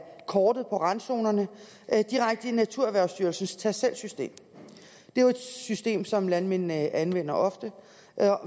kortet med randzonerne direkte i naturerhvervsstyrelsens tast selv system det er jo et system som landmændene anvender ofte